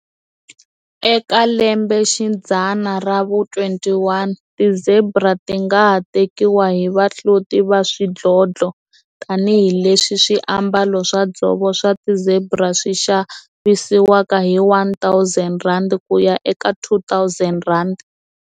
Eka lembe xidzana ra vu-21, ti-zebra ti nga ha tekiwa hi vahloti va swidlodlo tanihi leswi swiambalo swa dzovo swa ti-zebra swi xavisiwaka hi R1 000 ku ya eka R2 000.